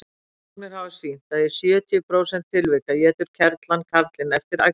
rannsóknir hafa sýnt að í sjötíu prósent tilvika étur kerlan karlinn eftir æxlun